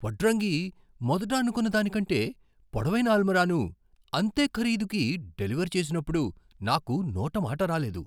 వడ్రంగి మొదట అనుకున్నదానికంటే పొడవైన అల్మారాను అంతే ఖరీదుకి డెలివర్ చేసినప్పుడునాకు నోట మాట రాలేదు.